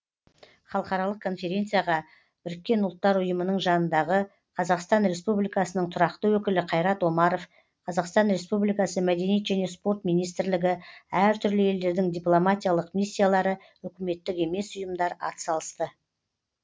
халықаралық конференцияға біріккен ұлттар ұйымының жанындағы қазақстан республикасының тұрақты өкілі қайрат омаров қазақстан республикасы мәдениет және спорт министрлігі әр түрлі елдердің дипломатиялық миссиялары үкіметтік емес ұйымдар атсалысты